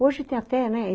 Hoje tem até, Enem.